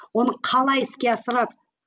оны қалай іске асырады